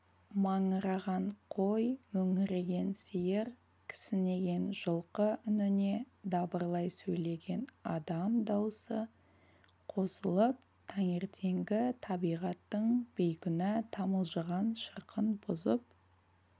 маңыраған қой мөңіреген сиыр кісінеген жылқы үніне дабырлай сөйлеген адам даусы қосылып таңертеңгі табиғаттың бейкүнә тамылжыған шырқын бұзып